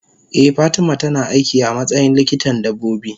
eh fatima tana aiki amatsayin likitan dabbobi.